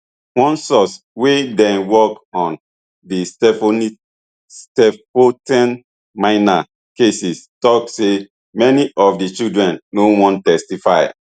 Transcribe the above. one source wey dey work on di stilfontein miners cases tok say many of di children no wan testify